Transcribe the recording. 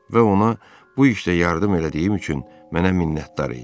Və ona bu işdə yardım elədiyim üçün mənə minnətdar idi.